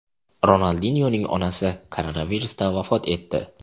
Ronaldinyoning onasi koronavirusdan vafot etdi.